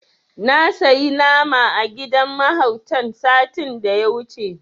Na sayi nama a gidan mahautan satin da ya wuce.